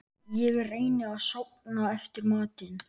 Ég reyni að sofna eftir matinn.